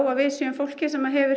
að við séum fólkið sem hefur